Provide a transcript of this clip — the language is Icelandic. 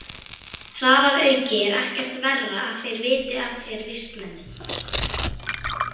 Þar að auki er ekkert verra að þeir viti af þér, vistmennirnir.